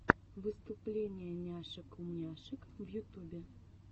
выступление няшек умняшек в ютубе